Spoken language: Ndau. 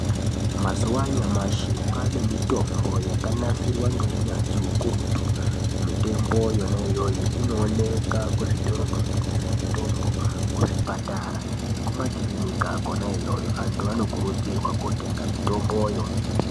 Mazuwa anyamashi kwaane mitombo yakanasirwa ngeunyazvi ukurutu mitwmbo yona iyoyo inooneka kuzvitoro zvinotengesa mutombo kuzvipatara nekuma kirinika kona iyoyo antu anokurudzirwa kotenga mitomboyo.